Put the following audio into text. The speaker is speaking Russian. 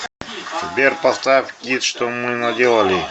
сбер поставь кидд что мы наделали